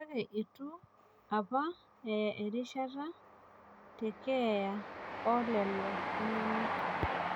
Kake itu apa aya erishata tekeeya oo lelo tung'anak